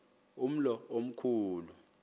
umlo omkhu lu